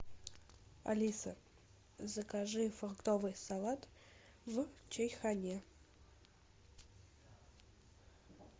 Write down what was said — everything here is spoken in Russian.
алиса закажи фруктовый салат в чайхоне